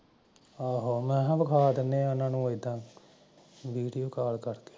ਆਹੋ ਮੈਂ ਹਾਂ ਵਿਖਾ ਦਿੰਦਾ ਐ ਓਹਨਾਂ ਨੂ ਵੀਡੀਓ ਕਾਲ ਕਰਕੇ